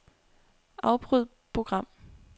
Afbryd program.